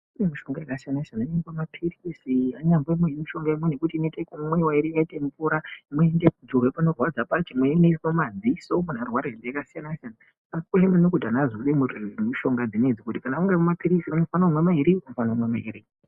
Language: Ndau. Kune mishonga yakasiyana siyana yakaite maphirizi, imweni mishonga inoite yekumwiwa yakaite mvura. Imweni ndoinozorwa panorwadza pacho. Imweni inoiswe mumadziso munhu arwara ngehosha dzakasiyana siyana. Zvakakosha maningi kuti munhu aziye mishonga idzi. Kana uchifane kumwa maphirizi mairi, unofane kumwa mairi.